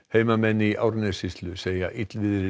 heimamenn í Árnessýslu segja illviðrið